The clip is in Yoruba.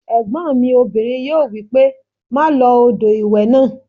Ẹ̀gbọ́n mi obìnrin yóò wí pé "má lo odò ìwẹ̀ náà"